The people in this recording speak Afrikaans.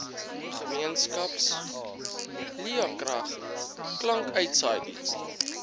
gemeenskaps laekrag klankuitsaaidienste